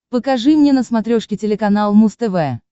покажи мне на смотрешке телеканал муз тв